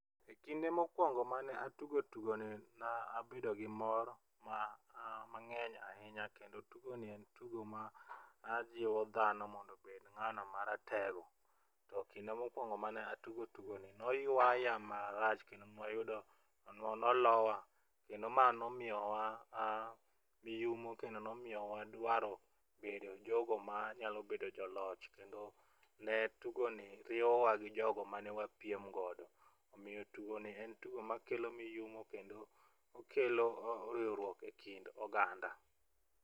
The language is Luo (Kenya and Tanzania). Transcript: E kinde mokwongo mane atugo tugoni nabedo gi mor mang'eny ahinya kendo tugoni en tugo ma ajiwo dhano mondo obed ng'ano maratego to kinde mokwongo mane atugo tugoni noywaya marach kendo nolowa kendo ma nomiyowa miyumo kendo nomiyowa dwaro bedo jogo manyalo bedo joloch kendo ne tugoni riyowa gi jogo mane wapiem godo. Omiyo tugoni en tugo makelo miyumo kendo okelo riwruok e kind oganda.